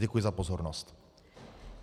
Děkuji za pozornost.